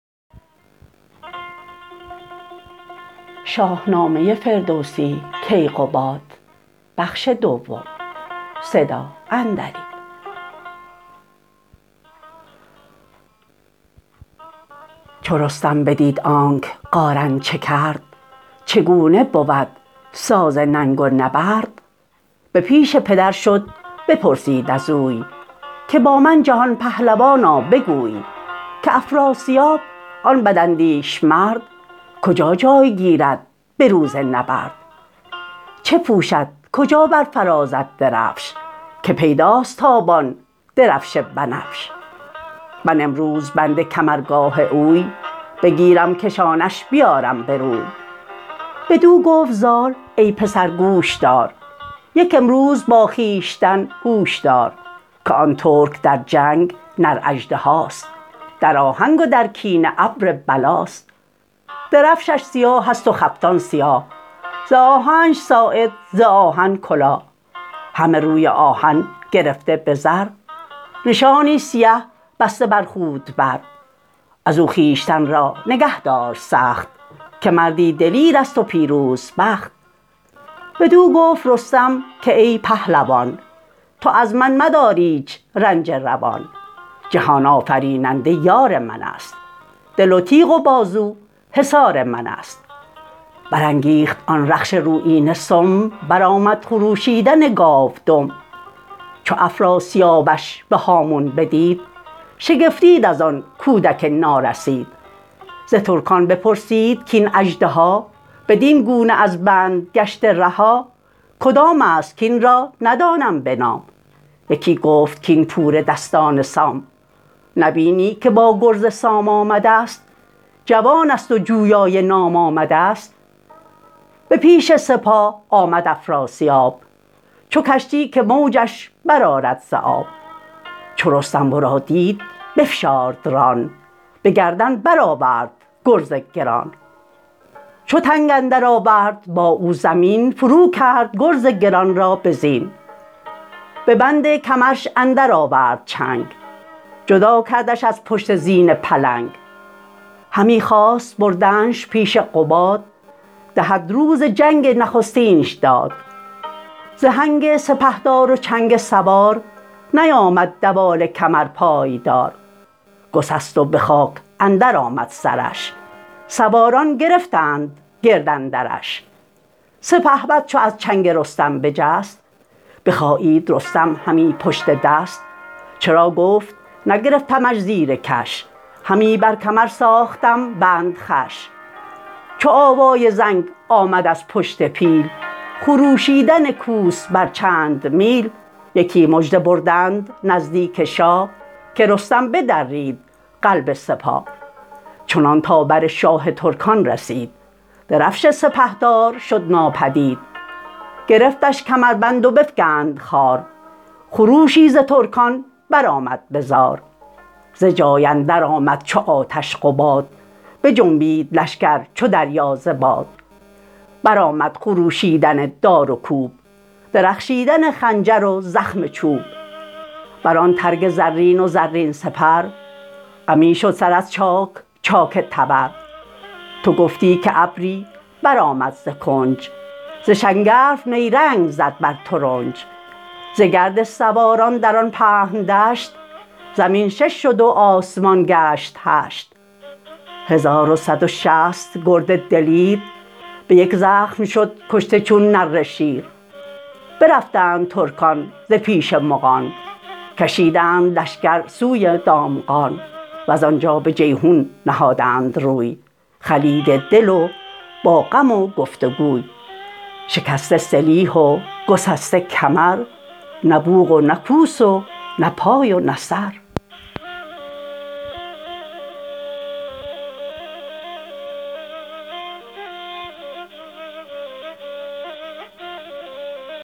چو رستم بدید آنک قارن چه کرد چه گونه بود ساز ننگ و نبرد به پیش پدر شد بپرسید از وی که با من جهان پهلوانا بگوی که افراسیاب آن بد اندیش مرد کجا جای گیرد به روز نبرد چه پوشد کجا برافرازد درفش که پیداست تابان درفش بنفش من امروز بند کمرگاه اوی بگیرم کشانش بیارم بروی بدو گفت زال ای پسر گوش دار یک امروز با خویشتن هوش دار که آن ترک در جنگ نر اژدهاست در آهنگ و در کینه ابر بلاست درفشش سیاهست و خفتان سیاه ز آهنش ساعد ز آهن کلاه همه روی آهن گرفته به زر نشانی سیه بسته بر خود بر ازو خویشتن را نگه دار سخت که مردی دلیرست و پیروز بخت بدو گفت رستم که ای پهلوان تو از من مدار ایچ رنجه روان جهان آفریننده یار منست دل و تیغ و بازو حصار منست برانگیخت آن رخش رویینه سم برآمد خروشیدن گاو دم چو افراسیابش به هامون بدید شگفتید ازان کودک نارسید ز ترکان بپرسید کین اژدها بدین گونه از بند گشته رها کدامست کین را ندانم به نام یکی گفت کاین پور دستان سام نبینی که با گرز سام آمدست جوانست و جویای نام آمدست به پیش سپاه آمد افراسیاب چو کشتی که موجش برآرد ز آب چو رستم ورا دید بفشارد ران بگردن برآورد گرز گران چو تنگ اندر آورد با او زمین فرو کرد گرز گران را به زین به بند کمرش اندر آورد چنگ جدا کردش از پشت زین پلنگ همی خواست بردنش پیش قباد دهد روز جنگ نخستینش داد ز هنگ سپهدار و چنگ سوار نیامد دوال کمر پایدار گسست و به خاک اندر آمد سرش سواران گرفتند گرد اندرش سپهبد چو از چنگ رستم بجست بخایید رستم همی پشت دست چرا گفت نگرفتمش زیرکش همی بر کمر ساختم بند خوش چو آوای زنگ آمد از پشت پیل خروشیدن کوس بر چند میل یکی مژده بردند نزدیک شاه که رستم بدرید قلب سپاه چنان تا بر شاه ترکان رسید درفش سپهدار شد ناپدید گرفتش کمربند و بفگند خوار خروشی ز ترکان برآمد بزار ز جای اندر آمد چو آتش قباد بجنبید لشگر چو دریا ز باد برآمد خروشیدن دار و کوب درخشیدن خنجر و زخم چوب بران ترگ زرین و زرین سپر غمی شد سر از چاک چاک تبر تو گفتی که ابری برآمد ز کنج ز شنگرف نیرنگ زد بر ترنج ز گرد سواران در آن پهن دشت زمین شش شد و آسمان گشت هشت هزار و صد و شصت گرد دلیر به یک زخم شد کشته چون نره شیر برفتند ترکان ز پیش مغان کشیدند لشگر سوی دامغان وزانجا به جیحون نهادند روی خلیده دل و با غم و گفت وگوی شکسته سلیح و گسسته کمر نه بوق و نه کوس و نه پای و نه سر